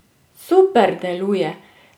Super deluje!